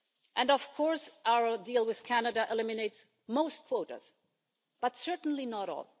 And of course, our deal with Canada eliminates most quotas, but certainly not all.